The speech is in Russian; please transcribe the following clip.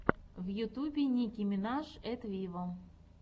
в ютьюбе ники минаж эт виво